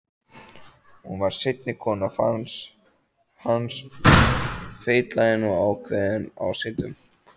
Hún varð seinni kona hans, feitlagin og ákveðin ásýndum.